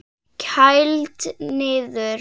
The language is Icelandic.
Kælt niður.